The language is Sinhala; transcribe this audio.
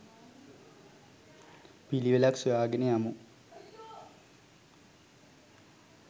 පිළිවෙලක් සොයා ගෙන යමු.